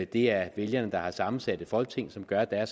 det er vælgerne der har sammensat et folketing som gør at der er